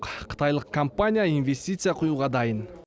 қытайлық компания инвестиция құюға дайын